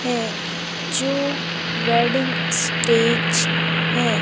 है जो wedding stage है।